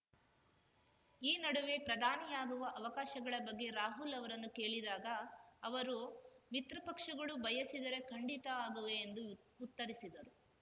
ಈ ನಡುವೆ ಪ್ರಧಾನಿಯಾಗುವ ಅವಕಾಶಗಳ ಬಗ್ಗೆ ರಾಹುಲ್‌ ಅವರನ್ನು ಕೇಳಿದಾಗ ಅವರು ಮಿತ್ರಪಕ್ಷಗಳು ಬಯಸಿದರೆ ಖಂಡಿತ ಆಗುವೆ ಎಂದು ಉತ್ತರಿಸಿದರು